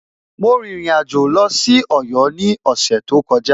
Mo rìnrìn àjò lọ sí Ọ̀yọ́ ní ọ̀sẹ̀ tó kọjá.